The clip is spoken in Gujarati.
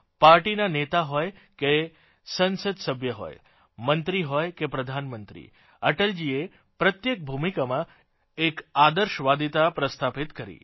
પાર્ટીના નેતા હોય કે સંસદ સભ્ય હોય મંત્રી હોય કે પ્રધાનમંત્રી અટલજીએ પ્રત્યેક ભૂમિકામાં એક આદર્શવાદિતા પ્રસ્થાપિત કરી